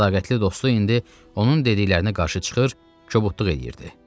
Sədaqətli dostu indi onun dediklərinə qarşı çıxır, kobudluq eləyirdi.